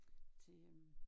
Til øh